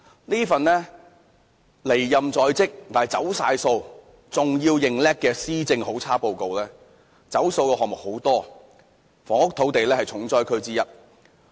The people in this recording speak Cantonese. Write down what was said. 這份離任在即，既"走數"又"認叻"的"施政好差報告"，"走數"的項目有很多，房屋、土地是其中一個重災區。